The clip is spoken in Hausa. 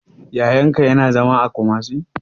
Yayan ka ya na zama a Kumasi?